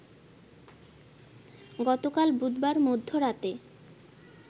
গতকাল বুধবার মধ্যরাতে